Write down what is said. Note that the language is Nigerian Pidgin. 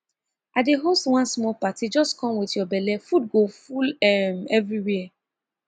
i dey host one small party just come with your belle food go full um everywhere